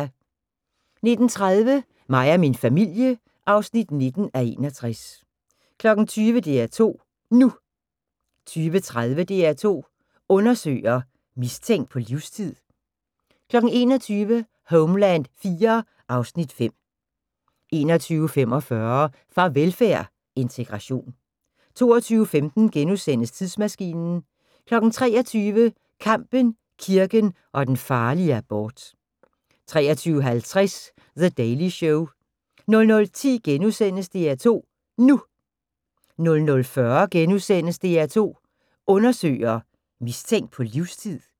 19:30: Mig og min familie (19:61) 20:00: DR2 NU 20:30: DR2 Undersøger: Mistænkt på livstid? 21:00: Homeland IV (Afs. 5) 21:45: Farvelfærd: Integration 22:15: Tidsmaskinen * 23:00: Kampen, kirken og den farlige abort 23:50: The Daily Show 00:10: DR2 NU * 00:40: DR2 Undersøger: Mistænkt på livstid? *